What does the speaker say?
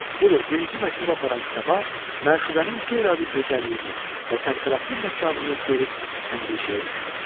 Budur, birinci məktubu aparan səba, məşuqənin qeyri-adi gözəlliyini və təmtəraqlı məkanını görüb əndişəyə düşür.